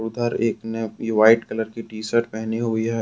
उधर एक ने अपनी व्हाइट कलर की टी शर्ट पहनी हुई है।